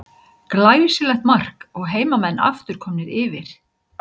Glæsilegt mark og heimamenn aftur komnir yfir.